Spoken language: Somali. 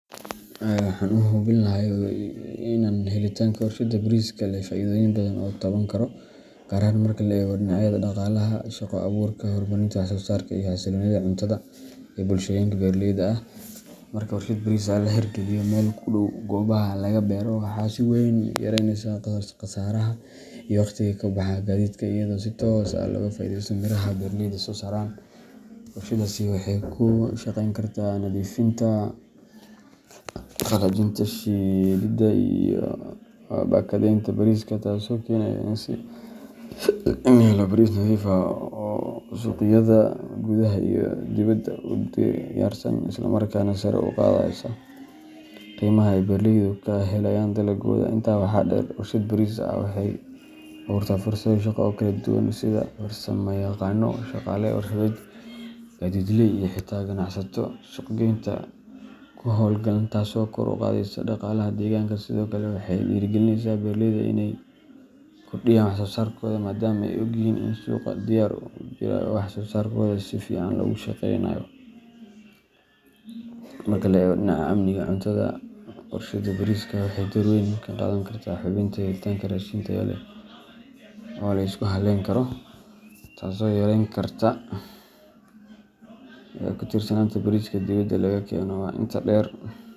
Haa waxan u hubin laha helitaanka warshad bariiska ayaa leh faa’iidooyin badan oo la taaban karo, gaar ahaan marka la eego dhinacyada dhaqaalaha, shaqo abuurka, horumarinta wax-soo-saarka, iyo xasilloonida cuntada ee bulshooyinka beeraleyda ah. Marka warshad bariis laga hirgeliyo meel u dhow goobaha laga beero, waxa ay si weyn u yaraynaysaa khasaaraha iyo waqtiga ku baxa gaadiidka, iyadoo si toos ah looga faa’iideysanayo miraha ay beeraleydu soo saaraan. Warshaddaasi waxay ka shaqeyn kartaa nadiifinta, qalajinta, shiididda iyo baakadeeynta bariiska, taasoo keeneysa in la helo bariis nadiif ah oo suuqyada gudaha iyo kuwa dibaddaba u diyaarsan, isla markaana sare u qaadaysa qiimaha ay beeraleydu ka helayaan dalaggooda. Intaa waxaa dheer, warshad bariis waxay abuurtaa fursado shaqo oo kala duwan sida farsamayaqaanno, shaqaale warshadeed, gaadiidley, iyo xitaa ganacsato suuq geynta ku hawlan, taasoo kor u qaadaysa dhaqaalaha deegaanka. Sidoo kale, waxay dhiirrigelinaysaa beeraleyda inay kordhiyaan wax-soo-saarkooda maadaama ay ogyihiin in suuq diyaar ah uu jirayo oo wax-soo-sarkooda si fiican loogu shaqeynayo. Marka la eego dhinaca amniga cuntada, warshadda bariiska waxay door weyn ka qaadan kartaa hubinta helitaanka raashin tayo leh oo la isku hallayn karo, taasoo yareyn karta ku tiirsanaanta bariiska dibadda laga keeno.